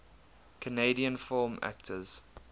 canadian film actors